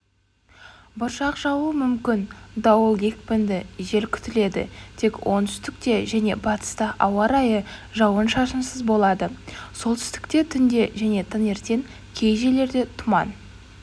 бұршақ жаууы мүмкін дауыл екпінді жел күтіледі тек оңтүстікте және батыста ауа-райы жауын-шашынсыз болады солтүстікте түнде және таңертең кей жерлерде тұман